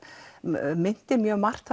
minnti mjög margt